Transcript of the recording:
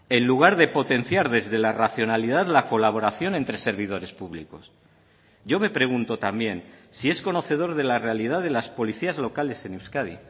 en lugar de potenciar desde la racionalidad la colaboración entre servidores públicos yo me pregunto también si es conocedor de la realidad de las policías locales en euskadi